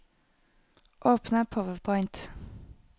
Åpne PowerPoint